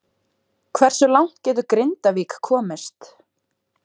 Hversu langt getur Grindavík komist?